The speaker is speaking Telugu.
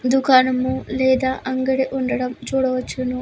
దుకాణం లేదా అంగడి ఉండటం చూడవచ్చును.